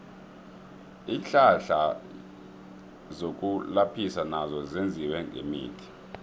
iinhlahla zokulaphisa nazo zenziwe ngemithi